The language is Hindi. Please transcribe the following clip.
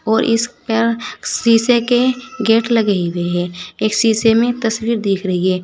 और इस पर शीशे के गेट लगे हुए हैं एक शीशे में तस्वीर दिख रही है।